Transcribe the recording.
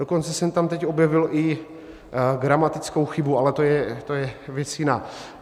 Dokonce jsem tam teď objevil i gramatickou chybu, ale to je věc jiná.